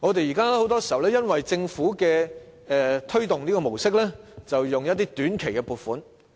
現在很多時候，因為政府要推動 STEM 教育，便撥出短期撥款。